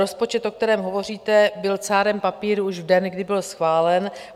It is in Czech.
Rozpočet, o kterém hovoříte, byl cárem papíru už v den, kdy byl schválen.